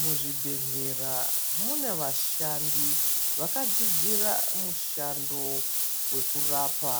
Muzvibhedhlera mune vashandi vakadzidzira mushando vekurapa